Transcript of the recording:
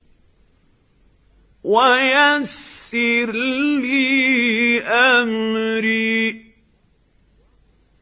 وَيَسِّرْ لِي أَمْرِي